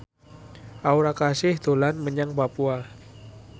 Aura Kasih dolan menyang Papua